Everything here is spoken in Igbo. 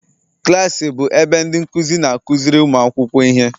Klas bụ ebe ndị nkuzi na-akụziri ụmụ akwụkwọ ihe